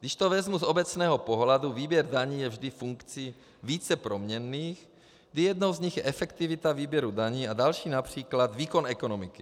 Když to vezmu z obecného pohledu, výběr daní je vždy funkcí více proměnných, kdy jednou z nich je efektivita výběru daní a další například výkon ekonomiky.